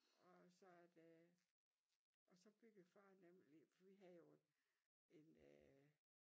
Og så af det og så byggede far nemlig lige for vi havde jo en øh